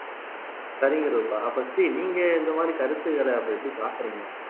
சரிங்க ரூபா அப்ப ஸ்ரீ நீங்க இந்த மாதிரி கருத்துகளை அப்ப எப்படி பார்க்கிறீங்க